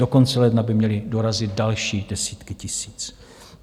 Do konce ledna by měly dorazit další desítky tisíc.